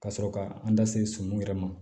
Ka sɔrɔ ka an da se sɔmunw yɛrɛ ma